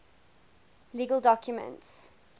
legal documents